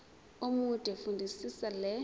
omude fundisisa le